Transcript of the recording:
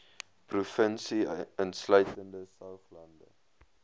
provinsie insluitende saoglande